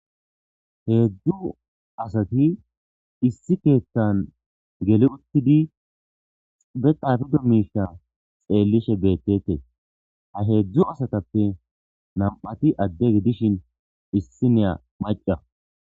Hezhzhu assatti issi keththan gelli uttidi be xaapiddo mishsha xellishe bettetess ha hezhzhu assatappe namatti adde gidishshe issinya macca.